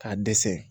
K'a dɛsɛ